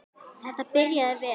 Þetta byrjaði vel.